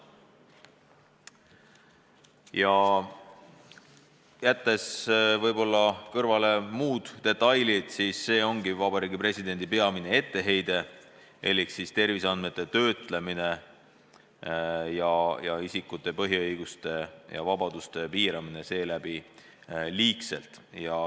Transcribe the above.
Kui jätta kõrvale muud detailid, siis see ongi Vabariigi Presidendi peamine etteheide elik jutt on terviseandmete töötlemisega isikute põhiõiguste ja vabaduste liigsest piiramisest.